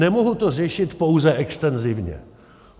Nemohu to řešit pouze extenzivně.